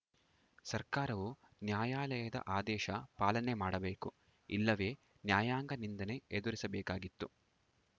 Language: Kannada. ಸರ್ಕಾರವು ನ್ಯಾಯಾಲಯದ ಆದೇಶ ಪಾಲನೆ ಮಾಡಬೇಕು ಇಲ್ಲವೇ ನ್ಯಾಯಾಂಗ ನಿಂದನೆ ಎದುರಿಸಬೇಕಾಗಿತ್ತು